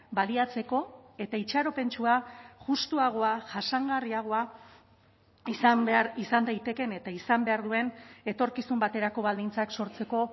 baliatzeko eta itxaropentsua justuagoa jasangarriagoa izan behar izan daitekeen eta izan behar duen etorkizun baterako baldintzak sortzeko